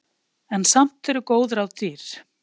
En samt eru góð ráð dýr.